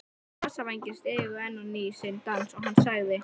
Nasavængirnir stigu enn á ný sinn dans og hann sagði